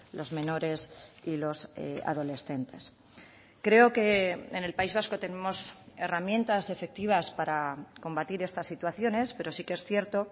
los menores y los adolescentes creo que en el país vasco tenemos herramientas efectivas para combatir estas situaciones pero sí que es cierto